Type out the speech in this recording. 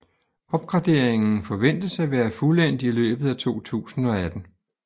Opgraderingen forventes at være fuldendt i løbet af 2018